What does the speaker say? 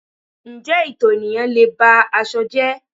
Ǹjẹ́ ito ayan lé e ba aṣọ jẹ́?